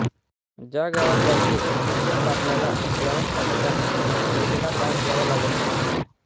ज्या गावात जायचे तिथल्या पाटलाला व्यवस्थापकाने दिलेला पास द्यावा लागायचा